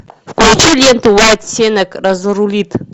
включи ленту уайт сенак разрулит